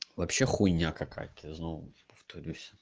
вообще хуйня какая-то я снова повторюсь